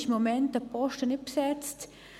Offenbar ist der Posten im Moment nicht besetzt.